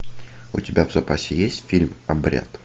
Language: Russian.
у тебя в запасе есть фильм обряд